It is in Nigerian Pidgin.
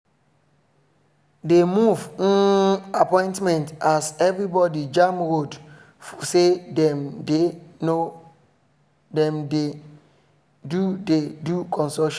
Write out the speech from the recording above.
de move um appointment as everybody jam for road say them dey do dey do construction work